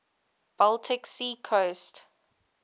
baltic sea coast